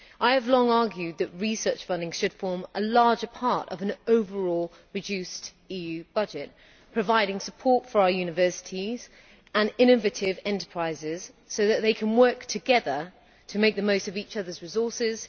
I have long argued that research funding should form a larger part of an overall reduced EU budget, providing support for our universities and innovative enterprises so that they can work together to make the most of each other's resources.